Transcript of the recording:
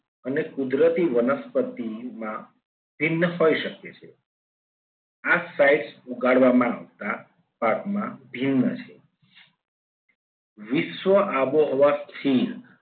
અને કુદરતી વનસ્પતિની માં ભિન્ન હોઈ શકે છે. આ sights ઉગાડવા માગતા પાકમાં ભિન્ન છે. વિશ્વ આબોહવા સ્થિર